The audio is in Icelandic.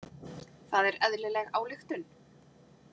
Það er eðlileg ályktun.